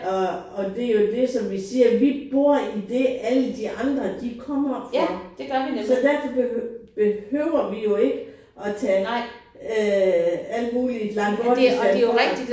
Og og det jo det som vi siger vi bor i det alle de andre de kommer for så derfor behøver vi jo ikke at tage øh alt muligt Langtbortistan for